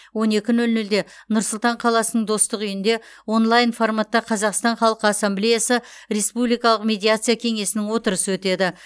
он екі нөл нөлде нұр сұлтан қаласының достық үйінде онлайн форматта қазақстан халқы ассамблеясы республикалық медиация кеңесінің отырысы өтеді